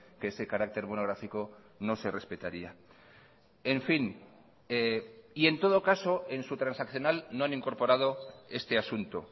que ese carácter monográfico no se respetaría en fin y en todo caso en su transaccional no han incorporado este asunto